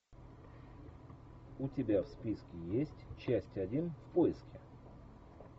у тебя в списке есть часть один в поиске